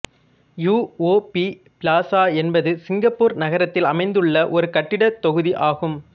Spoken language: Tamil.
யூ ஓ பி பிளாசா என்பது சிங்கப்பூர் நகரத்தில் அமைந்துள்ள ஒரு கட்டிடத் தொகுதி ஆகும்